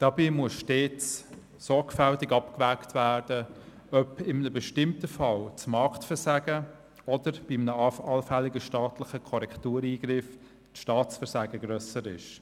Dabei muss stets sorgfältig abgewogen werden, ob in einem bestimmten Fall das Marktversagen oder bei einem allfälligen staatlichen Korrektureingriff das Staatsversagen grösser ist.